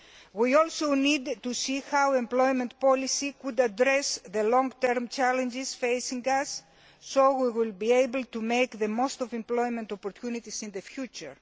We also need to see how employment policy might address the long term challenges facing us so that we will be able to make the most of employment opportunities in the future.